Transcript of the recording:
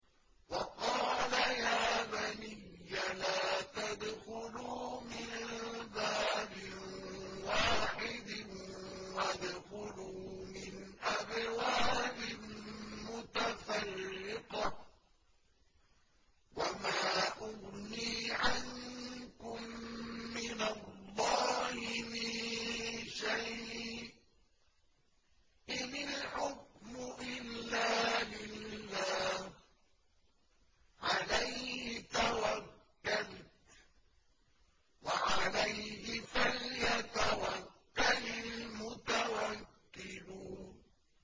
وَقَالَ يَا بَنِيَّ لَا تَدْخُلُوا مِن بَابٍ وَاحِدٍ وَادْخُلُوا مِنْ أَبْوَابٍ مُّتَفَرِّقَةٍ ۖ وَمَا أُغْنِي عَنكُم مِّنَ اللَّهِ مِن شَيْءٍ ۖ إِنِ الْحُكْمُ إِلَّا لِلَّهِ ۖ عَلَيْهِ تَوَكَّلْتُ ۖ وَعَلَيْهِ فَلْيَتَوَكَّلِ الْمُتَوَكِّلُونَ